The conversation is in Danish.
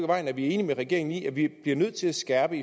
vejen er enige med regeringen i nemlig at vi bliver nødt til at skærpe